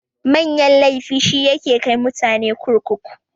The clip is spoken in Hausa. Manyan laifi shi yake kai mutane kurkuku.